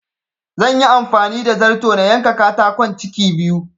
Zanyi amfani da zarto na yanka katakon ciki biyu